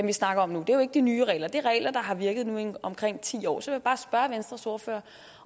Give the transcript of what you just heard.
vi snakker om nu det er jo ikke de nye regler det er regler der har virket nu i omkring ti år så vil jeg bare spørge venstres ordfører